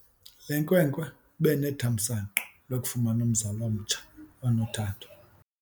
Le nkwenkwe ibe nethamsanqa lokufumana umzali omtsha onothando.